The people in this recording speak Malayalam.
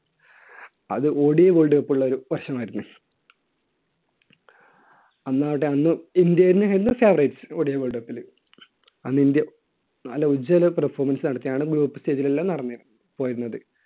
അത് ODIWorld Cup ഉള്ള ഒരു വർഷം ആയിരുന്നു. അന്നാകട്ടെ അന്ന് ഇന്ത്യ തന്നെയായിരുന്നു favoritesODIworld cup ൽ. അന്ന് ഇന്ത്യ നല്ല ഉജ്ജ്വല performance ആണ്. stage ൽ എല്ലാം നടന്നിരുന്നത്. പോയിരുന്നത്.